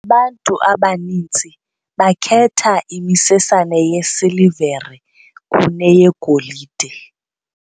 bantu abaninzi ngoku bakhetha imisesane yesilivere kuneyegolide.